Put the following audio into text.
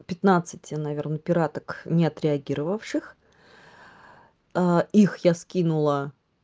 пятнадцати наверное пираток не отреагировавших их я скинула